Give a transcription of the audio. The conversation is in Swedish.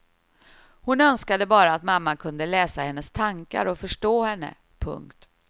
Hon önskade bara att mamma kunde läsa hennes tankar och förstå henne. punkt